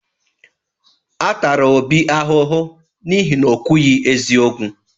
A tara Obi ahụhụ n’ihi na o kwughi eziokwu.